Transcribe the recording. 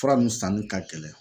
Fura nun sanni ka gɛlɛn